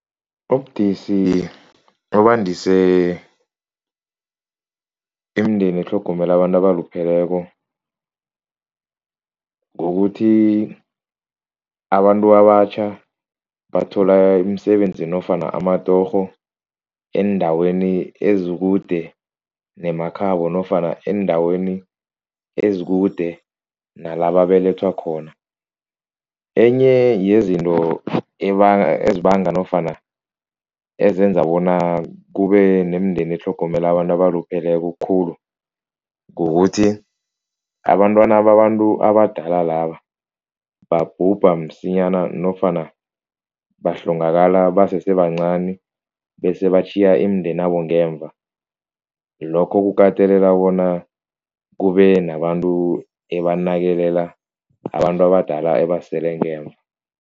Ubudisi obandise imindeni etlhogomela abantu abalupheleko kukuthi abantu abatjha bathola imisebenzi nofana amatorho eendaweni ezikude nemakhabo nofana eendaweni ezikude nalababelethwa khona. Enye yezinto ezibanga nofana ezenza bona kube nemindeni etlhogomela abantu abalupheleko khulu kukuthi, abantwana babantu abadala laba babhubha msinyana nofana bahlongakala basese bancani bese batjhiya imindeni yabo ngemva lokho kukatelela bona kube nabantu ebanakekela abantu abadala ebasele ngemva.